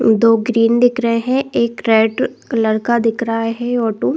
दो ग्रीन दिख रहे है एक रेड कलर का दिख रहा है ऑटो --